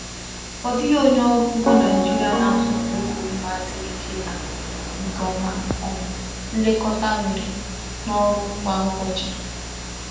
Ọ dịghị onye ọrụ ugbo Naijiria na-atụfu uru mma siri ike na nke ọma um nlekọta nwere na ọrụ kwa ụbọchị.